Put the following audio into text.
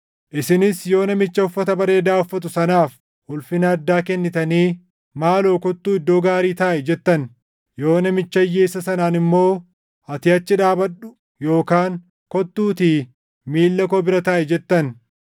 Isinis yoo namicha uffata bareedaa uffatu sanaaf ulfina addaa kennitanii, “Maaloo kottuu iddoo gaarii taaʼi!” jettan, yoo namicha hiyyeessa sanaan immoo, “Ati achi dhaabadhu” yookaan “Kottuutii miilla koo bira taaʼi!” jettan,